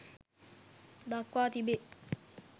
දක්වා තිබේ.